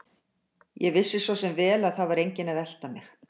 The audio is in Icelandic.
Ég vissi svo sem vel að það var enginn að elta mig.